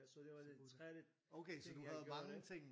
så det var den tredje ting jeg gjorde der